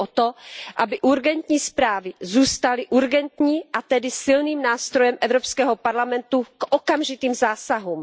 Jde mi o to, aby urgentní zprávy zůstaly urgentními a tedy silným nástrojem Evropského parlamentu k okamžitým zásahům.